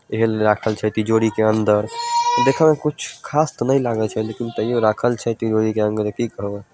ईहे लिए राखल छै तिजोरी के अंदर देखे में कुछ खास ते ने लागे छै लेकिन तयो राखल छै तिजोरी के अंदर ते की करबा।